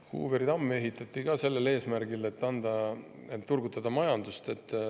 Hooveri tamm ehitati ka sellel eesmärgil, et turgutada majandust.